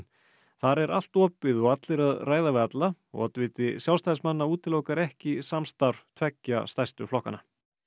þar er allt opið og allir að ræða við alla og oddviti Sjálfstæðismanna útilokar ekki samstarf tveggja stærstu flokkanna